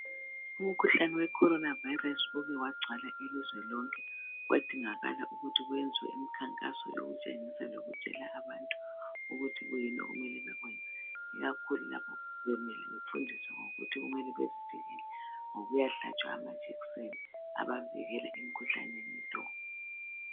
Umkhuhlane wecoorona virus uke wagcwala ilizwe lonke kwadingakala ukuthi kuyenzwe imikhankaso yokutshengisa lokutshela abantu ukuthi kuyini okumele bakwenze ikakhulu lapho bemele befundiswe ngokuthi kumele bezivikele ngokuya hlatshwa amajekiseni abavikela emkhuhlaneni lo.